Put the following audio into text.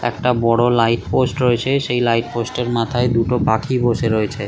একটি বড় লাইটপোস্ট রয়েছে সেই লাইটপোস্ট এর মাথায় দুটো পাখি বসে রয়েছে ।